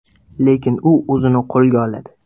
Lekin u o‘zini qo‘lga oladi.